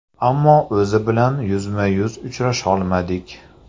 Ammo o‘zi bilan yuzma-yuz uchrasholmadik.